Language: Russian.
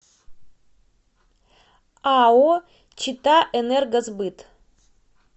ао читаэнергосбыт